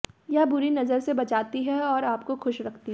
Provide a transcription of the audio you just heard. यह बुरी नजर से बचाती है और आपको खुश रखती है